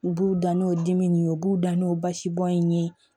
U b'u da n'o dimi nin ye u b'u da n'o basi bɔn in ye